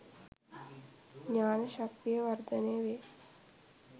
ඥාන ශක්තිය වර්ධනය වේ.